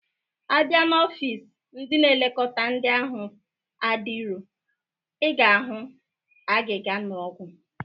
A bịa na ọfịs ndị na-eleta ndị ahụ adirọ, ị ga-ahụ agịga na ọgwụ